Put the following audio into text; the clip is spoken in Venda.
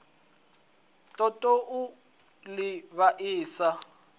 ṱoḓou u ḽi vhaisa a